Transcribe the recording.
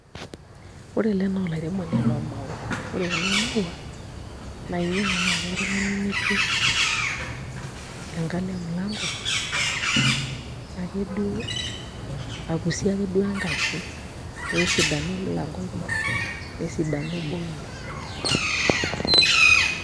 Ore ele naa olairemoni loomaua ore kuna maua naa inyiang'u naai oltung'ani nipik enkalo emilanko ake duo akusie ake duo enkaji pee esidanu emulanko ino nesidanu boo ino.